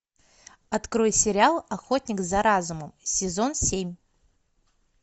открой сериал охотник за разумом сезон семь